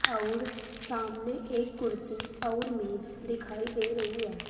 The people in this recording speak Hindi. अउर सामने एक कुर्सी अउर मेज दिखाई दे रही है।